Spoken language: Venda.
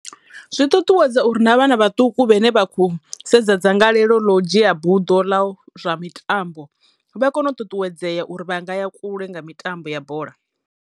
Zwi ṱuṱuwedza uri na vhana vhaṱuku vhane vha khou sedza dzangalelo ḽo dzhia buḓo ḽa zwa mitambo vha kono u ṱuṱuwedzeya uri vha nga ya kule nga mitambo ya bola.